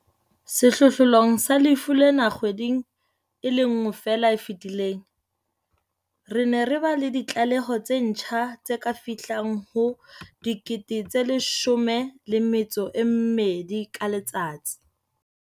Sehlohlolong sa lefu lena kgweding e le nngwe feela e fetileng, re ne re ba le ditlaleho tse ntjha tse ka fihlang ho 12 000 ka letsatsi.